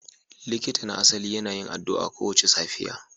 Likitan na asali yana yin addu'a kowace safiya